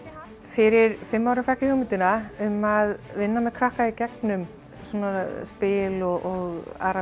fyrir fimm árum fékk ég hugmyndina um að vinna með krakka í gegnum svona spil og aðra